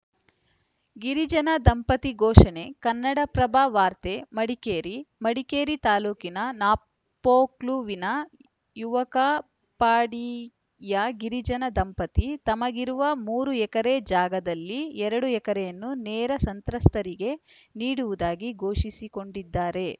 ಗಿರಿಜನ ದಂಪತಿ ಘೋಷಣೆ ಕನ್ನಡಪ್ರಭ ವಾರ್ತೆ ಮಡಿಕೇರಿ ಮಡಿಕೇರಿ ತಾಲೂಕಿನ ನಾಪೋಕ್ಲುವಿನ ಯವಕಪಾಡಿಯ ಗಿರಿಜನ ದಂಪತಿ ತಮಗಿರುವ ಮೂರು ಎಕರೆ ಜಾಗದಲ್ಲಿ ಎರಡು ಎಕರೆಯನ್ನು ನೆರೆ ಸಂತ್ರಸ್ತರಿಗೆ ನೀಡುವುದಾಗಿ ಘೋಷಿಸಿಕೊಂಡಿದ್ದಾರೆ